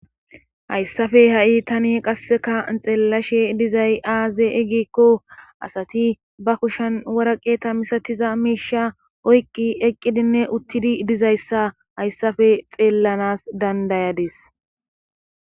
Hayssafe ha7i tani qasseka xeellashe dizay aaze egikko asati ba kushan waraqeta misatiza miisha oyqqi eqqidinne uttidi dizayssa hayssafe xeellanas dandayades